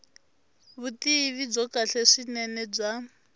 vutivi byo kahle swinene bya